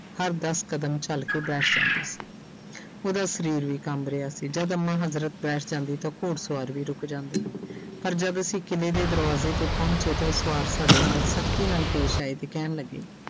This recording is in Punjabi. ਹਰ ਦਸ ਕਦਮ ਚੱਲ ਕੇ ਬੈਠ ਜਾਂਦੀ ਸੀ ਉਹਦਾ ਸਰੀਰ ਵੀ ਕੰਬ ਰਿਹਾ ਸੀ ਜਦ ਅੰਮਾ ਹਜ਼ਰਤ ਬੈਠ ਜਾਂਦੀ ਤਾਂ ਉਹ ਘੋੜ ਸਵਾਰ ਵੀ ਰੁੱਕ ਜਾਂਦੇ ਪਰ ਜਦ ਅਸੀਂ ਕਿਲ੍ਹੇ ਦੇ ਦਰਵਾਜ਼ੇ ਤੇ ਪਹੁੰਚੇ ਤਾਂ ਉਹ ਸਵਾਰ ਸਾਡੇ ਨਾਲ ਸਖ਼ਤੀ ਨਾਲ ਪੇਸ ਆਏ ਤੇ ਕਹਿਣ ਲੱਗੇ।